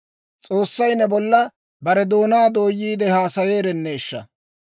S'oossay ne bolla bare doonaa dooyiide haasayeerenneeshsha!